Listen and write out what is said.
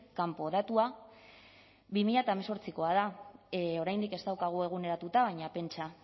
kanpo datua bi mila hemezortzikoa da oraindik ez daukagu eguneratuta baina pentsa